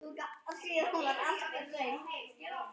Rífið ostinn og dreifið yfir.